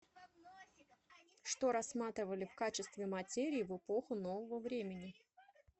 что рассматривали в качестве материи в эпоху нового времени